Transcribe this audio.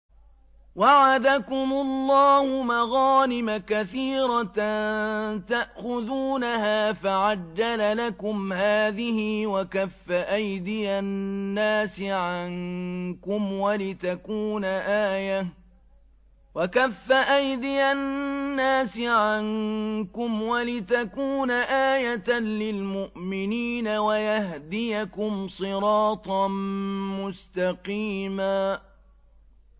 وَعَدَكُمُ اللَّهُ مَغَانِمَ كَثِيرَةً تَأْخُذُونَهَا فَعَجَّلَ لَكُمْ هَٰذِهِ وَكَفَّ أَيْدِيَ النَّاسِ عَنكُمْ وَلِتَكُونَ آيَةً لِّلْمُؤْمِنِينَ وَيَهْدِيَكُمْ صِرَاطًا مُّسْتَقِيمًا